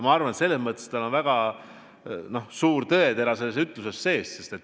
Ma arvan, et selles mõttes on väga suur tõetera sees.